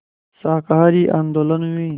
शाकाहारी आंदोलन में